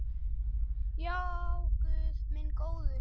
Já, guð minn góður.